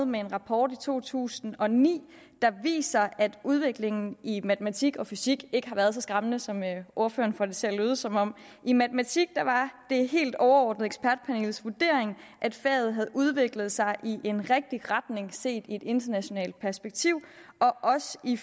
med en rapport i to tusind og ni der viser at udviklingen i matematik og fysik ikke har været så skræmmende som ordføreren får det til at lyde som om i matematik var det helt overordnet ekspertpanelets vurdering at faget havde udviklet sig i en rigtig retning set i et internationalt perspektiv og også i